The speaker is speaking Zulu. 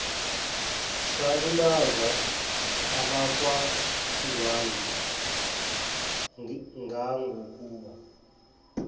salimaza abakwandwandwe ngangokuba